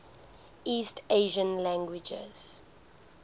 east asian languages